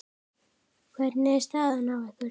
Hvernig er staðan hjá ykkur?